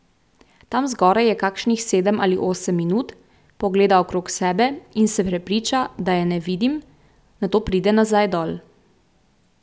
Tam zgoraj je kakšnih sedem ali osem minut, pogleda okrog sebe in se prepriča, da je ne vidim, nato pride nazaj dol.